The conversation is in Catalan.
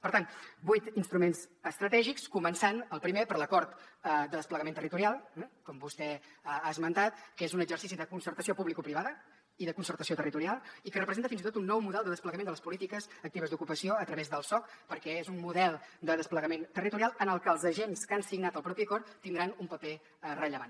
per tant vuit instruments estratègics començant el primer per l’acord de desplegament territorial eh com vostè ha esmentat que és un exercici de concertació publicoprivada i de concertació territorial i que representa fins i tot un nou model de desplegament de les polítiques actives d’ocupació a través del soc perquè és un model de desplegament territorial en el que els agents que han signat el propi acord tindran un paper rellevant